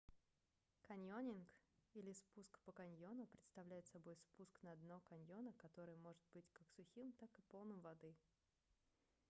каньонинг или спуск по каньону представляет собой спуск на дно каньона которое может быть как сухим так и полным воды